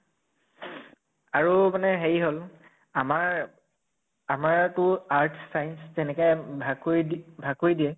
আৰু মানে হেৰি হʼল আমাৰ আমাৰ টো arts science তেনেকে ভাগ কৰি দি ভাগ কৰি দিয়ে